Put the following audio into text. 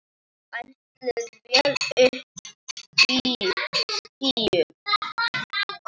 Áætluð vél uppí skýjum.